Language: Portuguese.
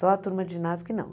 Só a turma de ginásio que não.